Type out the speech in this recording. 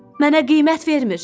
Mənə qiymət vermir.